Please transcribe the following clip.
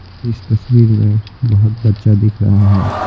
इस तस्वीर में बहुत बच्चा दिख रहा है।